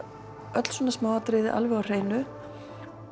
öll svona smáatriði alveg á hreinu